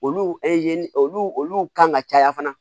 Olu olu kan ka caya fana